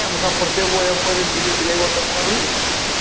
അമ്മക്ക് അപ്പ്രത്തേക്കു പോയപ്പോ ഇവല് ഇതിലെ കൊണ്ടപ്പോള്